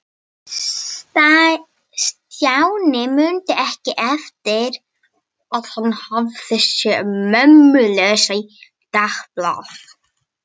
Stjáni mundi ekki eftir að hafa séð mömmu lesa í dagblaði.